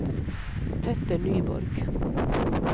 Petter Nyborg